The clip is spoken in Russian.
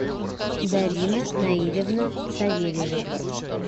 зарина наильевна савельева